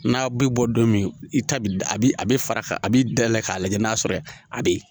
N'a bi bɔ don min i ta bi a bi a bɛ fara ka a b'i dayɛlɛ k'a lajɛ n'a sɔrɔ a be yen